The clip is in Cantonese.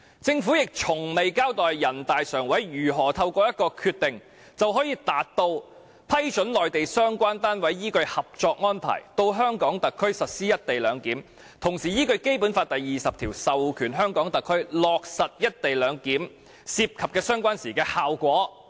政府亦從未交代人大常委會如何透過一個決定，就可以達到"批准內地相關單位依據《合作安排》到香港特區實施一地兩檢，同時依據《基本法》第二十條授權香港特區落實一地兩檢涉及的相關事宜"的效果。